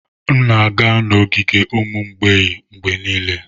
M na-aga n'ogige ụmụ mgbei mgbe niile.